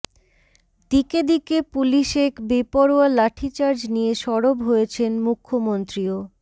দিকে দিকে পুলিশেক বেপরোয়া লাঠিচার্জ নিয়ে সরব হয়েছেন মুখ্য়মন্ত্রীও